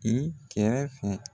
kɛmɛ fila.